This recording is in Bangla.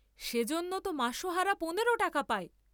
সেজন্য তো মাসহারা পনেরো টাকা পায়।